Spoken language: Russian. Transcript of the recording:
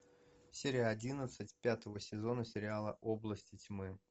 серия одиннадцать пятого сезона сериала области тьмы